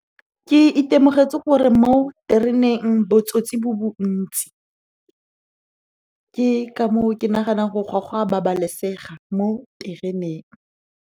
Ke itemogetse gore mo tereneng botsotsi bo bontsi, ke ka moo ke naganang gore ga go a babalesega mo tereneng.